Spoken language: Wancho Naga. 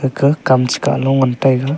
ga kam che kah lu ngan taiga.